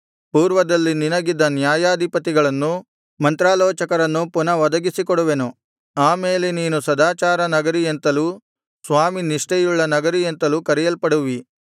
ಪೂರ್ವದಲ್ಲಿ ನಿನಗಿದ್ದ ನ್ಯಾಯಾಧಿಪತಿಗಳನ್ನು ಮಂತ್ರಾಲೋಚಕರನ್ನು ಪುನಃ ಒದಗಿಸಿಕೊಡುವೆನು ಆ ಮೇಲೆ ನೀನು ಸದಾಚಾರದ ನಗರಿ ಎಂತಲೂ ಸ್ವಾಮಿ ನಿಷ್ಠೆಯುಳ್ಳ ನಗರಿ ಎಂತಲೂ ಕರೆಯಲ್ಪಡುವಿ